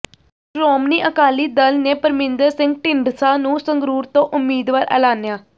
ਸ਼੍ਰੋਮਣੀ ਅਕਾਲੀ ਦਲ ਨੇ ਪਰਮਿੰਦਰ ਸਿੰਘ ਢੀਂਡਸਾ ਨੂੰ ਸੰਗਰੂਰ ਤੋਂ ਉਮੀਦਵਾਰ ਐਲਾਨਿਆ